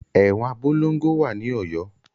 Ẹ̀wọn Abolongo wà ní Ọ̀yọ́.